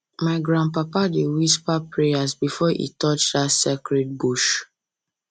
my grandpapa my grandpapa dey whisper prayers before e touch dat sacred bush